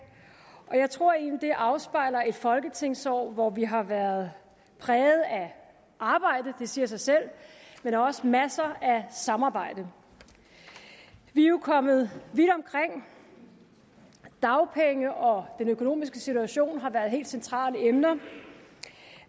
og jeg tror egentlig det afspejler et folketingsår hvor vi har været præget af arbejde det siger sig selv men også masser af samarbejde vi er jo kommet vidt omkring dagpenge og den økonomiske situation har været helt centrale emner